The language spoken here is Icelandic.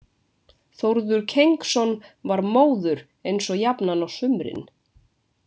Þórður Kengsson var móður eins og jafnan á sumrin.